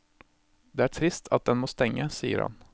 Det er trist at den må stenge, sier han.